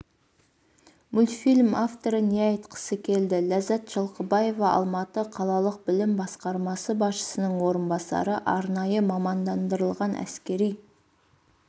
мультфильм авторы не айтқысы келді ләззат жылқыбаева алматы қалалық білім басқармасы басшысының орынбасары арнайы мамандандырылған әскери